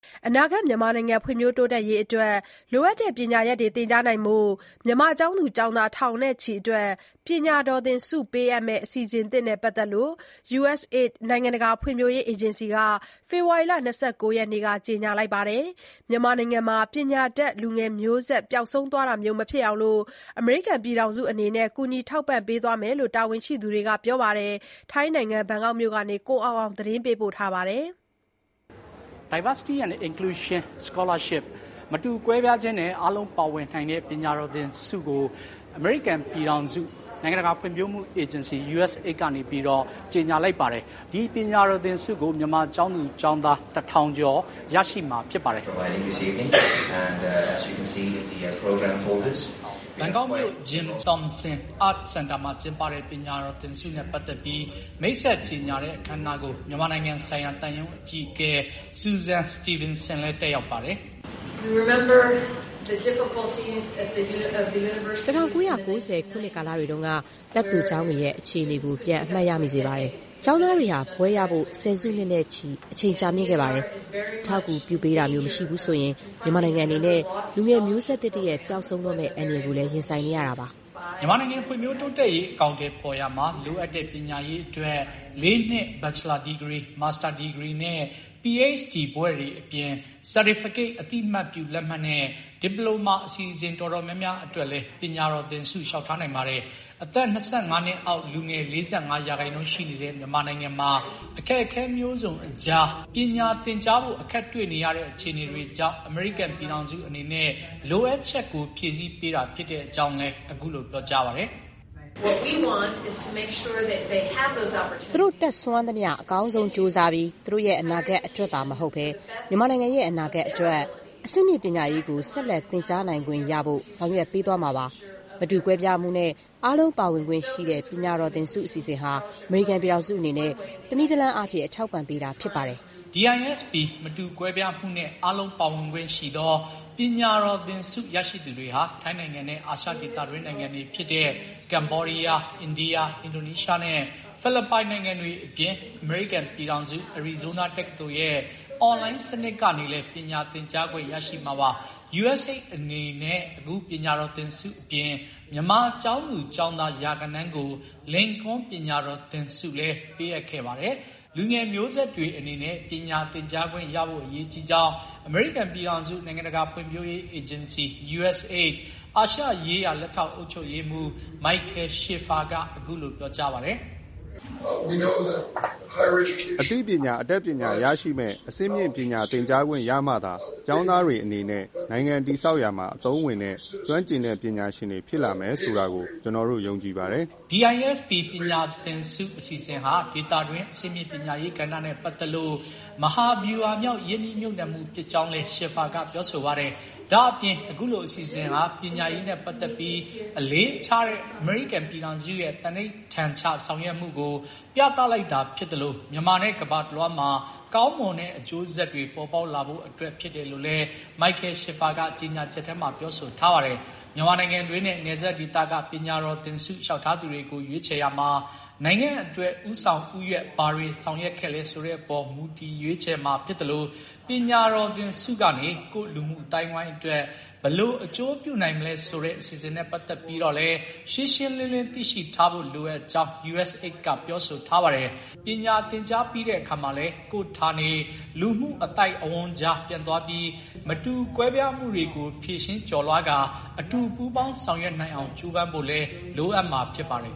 အနာဂါတ် မြန်မာနိုင်ငံ ဖွံ့ဖြိုးတိုးတက်ရေးအတွက် လိုအပ်တဲ့ ပညာရပ်တွေ သင်ကြားဖို့ မြန်မာကျောင်းသူ ကျောင်းသား ထောင်နဲ့ချီအတွက် ပညာတော်သင်ဆုပေးအပ်မယ့် အစီအစဥ်သစ်နဲ့ ပတ်သတ်ပြီး USAID နိုင်ငံတကာဖွံ့ဖြိုးရေးအေဂျင်စီ က ဖေဖော်ဝါရီ ၂၉ ရက်နေ့မှာ ကြေညာခဲ့ပါတယ်။ မြန်မာနိုင်ငံမှာ ပညာတတ် လူငယ်မျိုးဆက် ပျောက်ဆုံးတာမျိုး မဖြစ်အောင် အမေရိကန်ပြည်ထောင်စုအနေနဲ့ ကူညီထောက်ပံ့ပေးသွားမှာဖြစ်ကြောင်း တာဝန်ရှိသူတွေက ပြောကြားပါတယ်။ ဘန်ကောက်မြို့ကနေ ကိုအောင်အောင် သတင်းပေးပို့ထားပါတယ်။ ဘန်ကောက်မြို့ Jim Thompson Art Center မှာ ကျင်းပတဲ့ ပညာတော်သင်ဆုနဲ့ ပတ်သတ်ပြီး မိတ်ဆက်ကြေညာတဲ့ အခမ်းအနားကို မြန်မာနိုင်ငံဆိုင်ရာ သံရုံးအကြီးအကဲ Susan Steveenson လည်း တက်ရောက်ပါတယ်။ "၁၉၉၀ ခုနှစ်ကာလတွေတုန်းက တက္ကသိုလ်ကျောင်းတွေရဲ့ အခြေအနေကို ပြန်အမှတ်ရမိစေပါတယ်။ ကျောင်းသားတွေဟာ ဘွဲ့ရဖို့ ၁၀ စုနှစ်နဲ့ချီ အချိန်ကြာမြင့်ခဲ့ပါတယ်။ အထောက်အကူပြုပေးတာမျိုးမရှိဘူးဆိုရင် မြန်မာနိုင်ငံအနေနဲ့ လူငယ်မျိုးဆက်သစ်တရပ် ပျောက်ဆုံးတော့မဲ့ အန္တရာယ်ကိုလည်း ရင်ဆိုင်နေရတာပါ။" မြန်မာနိုင်ငံ ဖွံ့ဖြိုးတိုးတက်ရေး အကောင်အထည်ဖေါ်ရာမှာ လိုအပ်တဲ့ ပညာရေးအတွက် ၄ နှစ် ဘချ်လာဒီဂရီ၊ မာစတာဒီဂရီနဲ့ ၊ PHD ဘွဲ့တွေအပြင် certificate အသိအမှတ်ပြုလက်မှတ်နဲ့ ဒီပလိုမာအစီအစဥ် တော်တော်များများအတွက်လည်း ပညာတော်သင်ဆု လျှောက်ထားနိုင်ပါတယ်။ အသက် ၂၅ နှစ်အောက်လူငယ် ၄၅ ရာခိုင်နှုန်းရှိနေတဲ့ မြန်မာနိုင်ငံ အခက်အခဲမျိုးစုံအကြား ပညာသင်ကြားဖို့ အခက်တွေ့နေရတဲ့ အခြေအနေတွေကြောင့် အမေရိကန်ပြည်ထောင်စုအနေနဲ့ လိုအပ်ချက်ကို ဖြည့်ဆီးပေးတာဖြစ်တဲ့အကြောင်းလည်း အခုလို ပြောကြားပါတယ်။ "သူတို့ တတ်စွမ်းသမျှ အကောင်းဆုံးကြိုးစားပြီး သူတို့ရဲ့ အနာဂါတ်အတွက်သာမဟုတ်ဘဲ မြန်မာနိုင်ငံရဲ့ အနာဂါတ်အတွက်၊ အဆင့်မြင့်ပညာရေးကို ဆက်လက် သင်ကြားနိုင်ခွင့် ရဖို့ ဆောင်ရွက်ပေးသွားမှာပါ။ မတူကွဲပြားမှုနှင့် အားလုံးပါဝင်ခွင့်ရှိသော ပညာတော်သင်ဆု အစီအစဥ်ဟာ အမေရိကန်ပြည်ထောင်စုအနေနဲ့ တနည်းတလမ်းအားဖြင့် အထောက်အပံ့ပေးတာဖြစ်ပါတယ်။" DISP မတူကွဲပြားမှုနဲ့ အားလုံးပါဝင်ခွင့်ရှိသော ပညာတော်သင်ဆု ရရှိသူတွေဟာ ထိုင်းနိုင်ငံနဲ့ အာရှ ဒေသတွင်းနိုင်ငံတွေဖြစ်တဲ့ ကမ္ဘောဒီးယား၊ အိန္ဒိယ၊ အင်ဒိုနီးရှားနဲ့ ဖိလစ်ပိုင် နိုင်ငံတွေအပြင် အမေရိကန်ပြည်ထောင်စု အရီဇိုးနား တက္ကသိုလ်ရဲ့ အွန်လိုင်း စနစ်ကနေလည်း ပညာသင်ကြားခွင့်ရရှိမှာပါ။ USAID အနေနဲ့ အခုပညာတော်သင်ဆုအပြင် မြန်မာကျောင်းသူကျောင်းသား ရာဂဏန်းကို လင်ကွန်းပညာတော်သင်ဆု ပေးအပ်ခဲ့ပါတယ်။ လူငယ်မျိုးဆက်တွေအတွက် ပညာသင်ကြားပေးခွင့်ရဖို့ အရေးကြီးကြောင်း အမေရိကန်ပြည်ထောင်စု နိုင်ငံတကာ ဖွံ့ဖြိုးရေးအေးဂျင်စီ USAID အာရှရေးရာ လက်ထောက် အုပ်ချုပ်ရေးမှူး Michael Schiffer က အခုလို ပြောပါတယ်။ "အသိပညာ အတတ်ပညာ ရရှိမယ့် အဆင့်မြင့်ပညာသင်ကြားခွင့်ရမှာသာ ကျောင်းသားတွေအနေနဲ့ နိုင်ငံတည်ဆောက်ရာမှာ အသုံးဝင်တဲ့ ကျွမ်းကျင်ပညာရှင်တွေ ဖြစ်လာမယ်ဆိုတာကို ကျနော်တို့ ယုံကြည်ပါတယ်။" DISP ပညာသင်ဆု အစီအစဥ်ဟာ ဒေသတွင်း အဆင့်မြင့်ပညာရေးကဏ္ဍနဲ့ပတ်သတ်လို့ မဟာဗျူဟာမြောက် ရင်းနှီးမြှပ်နှံမှု ဖြစ်ကြောင်းလည်း Schiffer က ပြောဆိုပါတယ်။ ဒါ့အပြင် အခုလို အစီအစဥ်ဟာ ပညာရေးနဲ့ ပတ်သတ်ပြီး အလေးထားတဲ့ အမေရိကန်ရဲ့ သန္နိဋ္ဌာန်ချဆောင်ရွက်မှုကို ပြသလိုက်တာဖြစ်သလို မြန်မာနဲ့ ကမ္ဘာတလွှားမှာ ကောင်းမွန်တဲ့အကျိုးဆက်တွေ ပေါ်ပေါက်လာဖို့အတွက် ဖြစ်တယ်လို့လည်း Michel Schiffer က ကြေညာချက်ထဲမှ ပြောဆိုထားပါတယ်။ မြန်မာနိုင်ငံတွင်းနဲ့ နယ်စပ်ဒေသက ပညာတော်သင်ဆုလျှောက်ထားသူတွေကို ရွေးချယ်ရာမှာ နိုင်ငံအတွက် ဦးဆောင်ဦးရွက် ဘာတွေဆောင်ရွက်ခဲ့လဲ ဆိုတဲ့အပေါ် မူတည် ရွေးချယ်မှာြဖစ်သလို ပညာတော်သင်ဆုကနေ ကိုယ့်လူမှုအသိုင်းအဝိုင်းအတွက် ဘယ်လို အကျိုးပြုနိုင်မလဲဆိုတဲ အစီအစဥ်နဲ့ ပတ်သတ်ပြီးတော့လည်း ရှင်းရှင်းလင်းလင်း သိရှိထားဖို့ လိုအပ်ကြောင်း USAID က ပြောဆိုထားပါတယ်။ ပညာသင်ကြားပြီးတဲ့အခါမှာလည်း ကိုယ့်ဌာနေ လူမှုအသိုက်အဝန်းကြား ပြန်သွားပြီး မတူကွဲပြားမှုတွေကို ဖြေရှင်း ကျော်လွှားကာ အတူပူးပေါင်းဆောင်ရွက်နိုင်အောင် ကြိုးပမ်းဖို့လည်း လိုအပ်မှာဖြစ်ပါတယ်